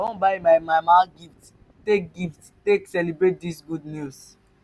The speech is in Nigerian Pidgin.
i wan buy my mama gift take gift take celebrate dis good news.